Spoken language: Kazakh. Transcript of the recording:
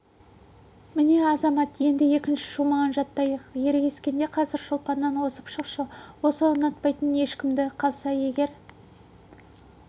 міне азамат енді екінші шумағын жаттайық ерегіскенде қазір шолпаннан озып шықшы осы ұнатпайтын ешкімді қалса егер